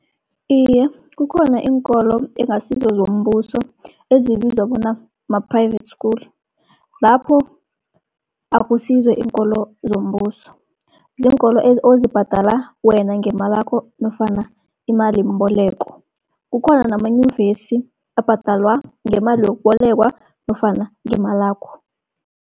Iye, kukhona iinkolo ekungasizo zombuso ezibizwa bona ma-private school. Lapho akusizo iinkolo zombuso ziinkolo ozibhadala wena ngemalakho nofana imalimboleko. Kukhona namanyuvesi abhadalwa ngemali yokubolekwa nofana ngemalakho.